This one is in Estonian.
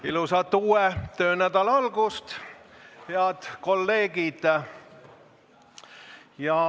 Ilusat uue töönädala algust, head kolleegid!